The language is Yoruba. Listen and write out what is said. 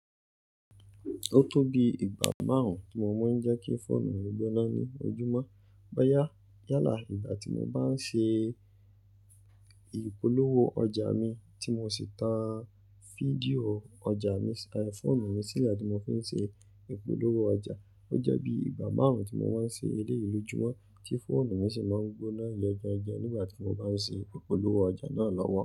Ó tó bi ìgbà márùn-ún tí mo máa ń jẹ́ kí fóònù mi gbóná ní ojúmọ́. Boyá, yálà ìgbà tí mo bá ń ṣe ìpolówó ọjà mi tí mo sì tan fídíò ọjà mi, fóònù mi sì yà tí mo fi ń ṣe ìpolówó ọjà. Ó jẹ́ bí ìgbà márùn-ún tí mo wá ń ṣe eléeyi l'ojúmọ́ tí fóònù mi sì máa ń gbóná gan gan gan nígbà tí mo bá ń ṣe ìpolówó ọjà náà lọ́wọ́.